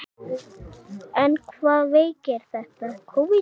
En hvaða veiki er þetta?